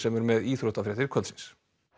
er með íþróttafréttir kvöldsins